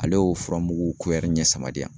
Ale y'o furamugu ɲɛ saba di yan